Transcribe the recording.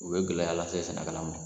U bɛ gɛlɛya lase sɛnɛkala mɔn.